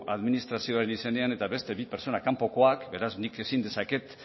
administrazioaren izenean eta beste bi pertsona kanpokoak beraz nik ezin dezaket